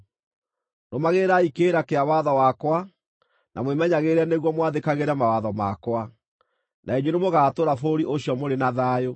“ ‘Rũmagĩrĩrai kĩrĩra kĩa watho wakwa na mwĩmenyagĩrĩre nĩguo mwathĩkagĩre mawatho makwa, na inyuĩ nĩ mũgaatũũra bũrũri ũcio mũrĩ na thayũ.